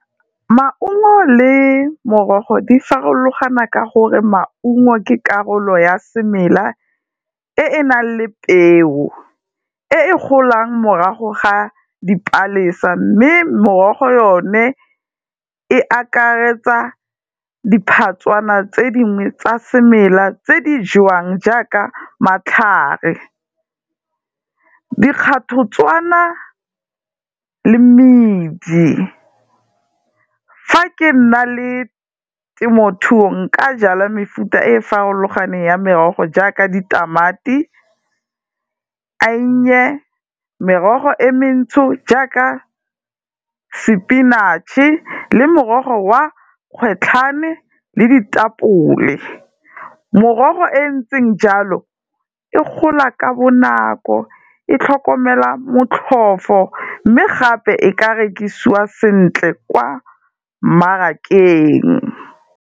Maungo le morogo di farologana ka gore maungo ke karolo ya semela e e nang le peo, e e golang morago ga dipalesa, mme morogo yone e akaretsa diphatswana tse dingwe tsa semela tse di jewang jaaka matlhare, dikgathotswana le medi. Fa ke nna le temothuo nka jala mefuta e farologaneng ya merogo jaaka ditamati, eiye. Merogo e mentsho jaaka sepinatšhe le morogo wa kgwetlhane le ditapole. Morogo e ntseng jalo, e gola ka bonako, e tlhokomela motlhofo mme gape e ka rekisiwa sentle kwa mmarakeng.